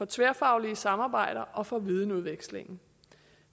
tværfaglige samarbejder og for videnudvekslingen